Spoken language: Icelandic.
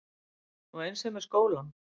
Og eins er með skólann.